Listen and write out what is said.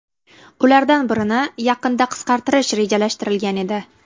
Ulardan birini yaqinda qisqartirish rejalashtirilgan edi .